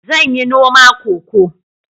Zan yi noma Cocoa